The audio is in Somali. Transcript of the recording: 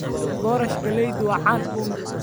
Boorash galeydu waa caan.